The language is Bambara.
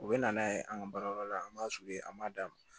U bɛ na n'a ye an ka baarayɔrɔ la an b'a an b'a d'a ma